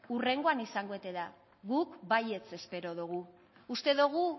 hurrengoan izango ote da guk baietz espero dugu uste dugu